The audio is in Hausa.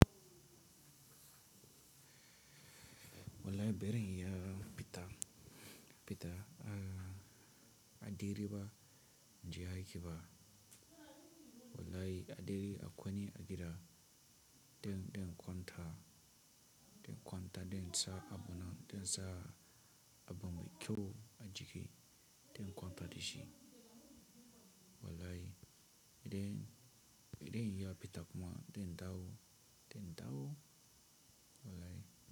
Walai ɓerin ya fita,-- fita a --a diriba jiya kiba. Wallai a dire a kwani a gida. Den--den kwanta, den kwanta den sa a bona, den sa a bambe kyau a jiki, den kwanta dishi. Wallai idan,-- idan ya fita kuma den dawo, den dawo. Wallai.